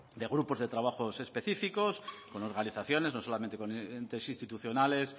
de grupos de trabajo específicos con organizaciones no solamente con entes institucionales